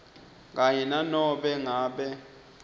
kanye nanobe ngabe